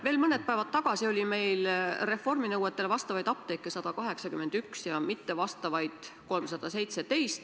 Veel mõned päevad tagasi oli meil reformi nõuetele vastavaid apteeke 181 ja mittevastavaid 317.